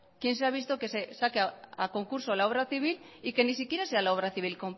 quien se ha visto que se saque a concurso la obra civil y que ni siquiera sea la obra civil